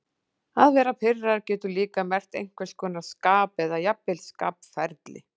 Að vera pirraður getur líka merkt einhvers konar skap eða jafnvel skapferli.